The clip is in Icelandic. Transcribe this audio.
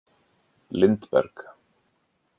Lindberg